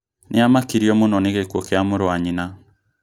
Nĩamakirio mũno nĩ gĩkuo kĩa mũrũ wa nyina